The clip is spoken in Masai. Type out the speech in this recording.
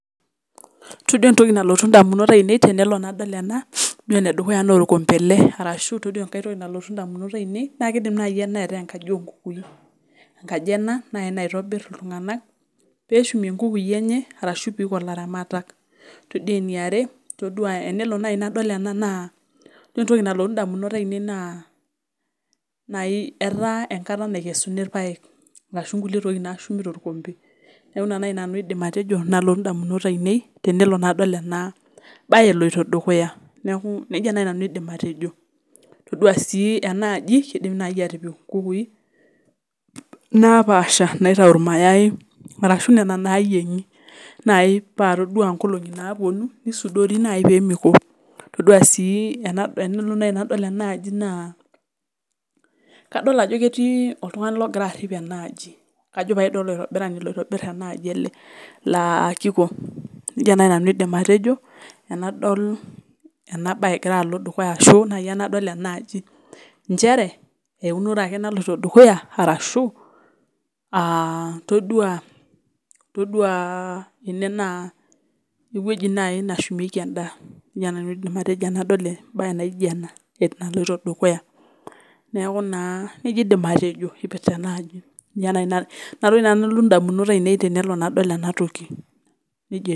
Todua entoki nalotu indamunot aainei tenadol ena naa todua entoki edukuya naa okombe ele ashuu itodua enkae toki nalotu indamunot aainei naa keidim naaji ena ataa enkaji oolukukuni naitobir iltung'anak peeshumie inkukui enye ashua ilaramatak todua entoki yaare ore entoki nalotu indamunot aainei naa etaa enkata naikesuni irpaek ashua inkulie tokitin naashumi torkompe neeki ina naaji nanu aidim atejo nalotu indamunot aainei tenadol ena baye edukuya todua sii naaji enaaji keidim ataaa enkaji oonkukui naapasha naitayu irmayai ashuu nena naayieng'i naaji paa todua inkolong'i naapuonu neisudori peemeiko todua sii tenakotu naaji nadol enaaji naa kadol ajo ketii oltung'ani ogira arip enaaji kajo pae doi kolaitabirani lenaaji ele laa keiko nejia naaji nanu aidim atejo tenadol ena baye egira alo dukuya enaaji ashua inchere eunore ake naloito dukuya ashua todua ene naa ewueji naaji nashumieki enaa nejia nanu aidim atejo neeku naa nji aidim atejo tenadol enaaji ninye naaji nalotu indamunot aainei.